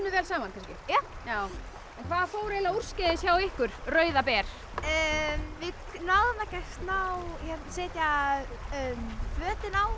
vel saman kannski já en hvað fór úrskeiðis hjá ykkur Rauða ber við náðum ekki að setja plötuna á